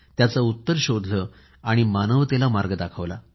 त्याचे उत्तर शोधून मानवतेला मार्ग दाखवला